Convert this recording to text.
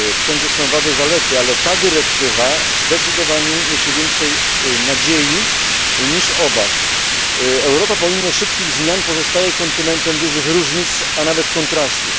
Wszędzie są wady i zalety, ale ta dyrektywa zdecydowanie niesie więcej nadziei niż obaw. Europa, pomimo szybkich zmian, pozostaje kontynentem dużych różnic, a nawet kontrastów.